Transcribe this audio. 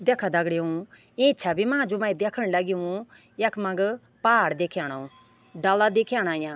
देखा दगड़ियों इं छवि मा जू मै देखण लग्युं यख-मग पाड़ दिख्याणु डाला दिख्येणा याँ।